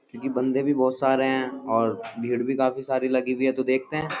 क्योंकि बंदे भी बहुत सारे है और भीड़ भी काफी सारी लगी हुई है। तो देखते हैं।